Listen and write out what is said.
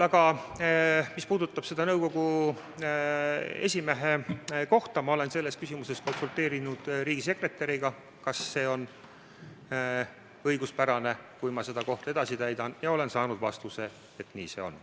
Aga mis puudutab seda nõukogu esimehe kohta, siis ma olen selles küsimuses konsulteerinud riigisekretäriga, küsides, kas see on õiguspärane, kui ma seda kohta edasi täidan, ja olen saanud vastuse, et nii see on.